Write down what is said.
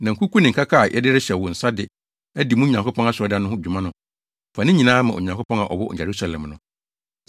Na nkuku ne nkaka a yɛde rehyɛ wo nsa de adi mo Nyankopɔn asɔredan no ho dwuma no, fa ne nyinaa ma Onyankopɔn a ɔwɔ Yerusalem no.